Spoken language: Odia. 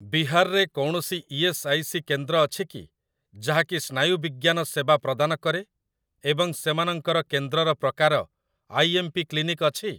ବିହାର ରେ କୌଣସି ଇ.ଏସ୍. ଆଇ. ସି. କେନ୍ଦ୍ର ଅଛି କି ଯାହାକି ସ୍ନାୟୁବିଜ୍ଞାନ ସେବା ପ୍ରଦାନ କରେ ଏବଂ ସେମାନଙ୍କର କେନ୍ଦ୍ରର ପ୍ରକାର ଆଇ.ଏମ୍.ପି. କ୍ଲିନିକ୍ ଅଛି?